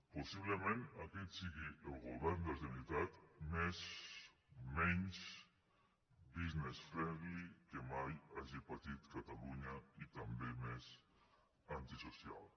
possiblement aquest sigui el govern de la generalitat menys business friendly que mai hagi patit catalunya i també més antisocial